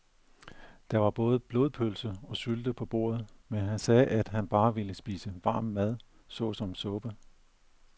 Der var både blodpølse og sylte på bordet, men han sagde, at han bare ville spise varm mad såsom suppe.